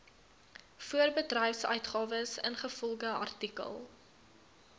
voorbedryfsuitgawes ingevolge artikel